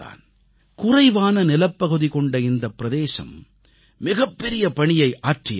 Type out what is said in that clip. குறைவான நிலப்பகுதி கொண்ட இந்த பிரதேசம் மிகப்பெரிய பணியை ஆற்றியிருக்கிறது